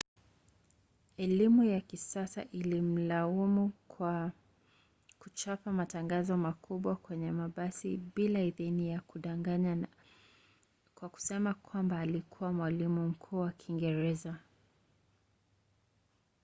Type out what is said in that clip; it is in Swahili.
elimu ya kisasa ilimlaumu kwa kuchapa matangazo makubwa kwenye mabasi bila idhini na kudanganya kwa kusema kwamba alikuwa mwalimu mkuu wa kiingereza